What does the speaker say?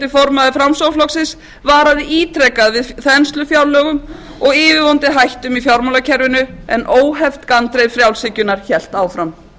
formaður framsóknarflokksins varaði ítrekað við þenslufjárlögum og yfirvofandi hættum í fjármálakerfinu en óheft gandreið frjálshyggjunnar hélt áfram